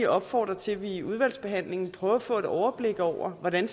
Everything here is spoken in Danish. opfordre til at vi i udvalgsbehandlingen prøver at få et overblik over hvordan